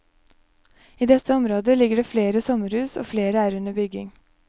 I dette området ligger det flere sommerhus og flere er under bygging.